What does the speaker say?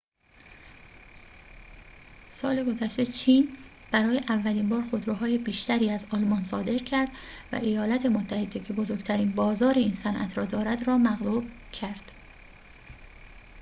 سال گذشته چین برای اولین بار خودروهای بیشتری از آلمان صادر کرد و ایالات متحده که بزرگترین بازار این صنعت را دارد را مغلوب کرد